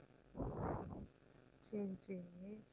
சரி சரி